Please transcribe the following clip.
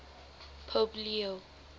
pope leo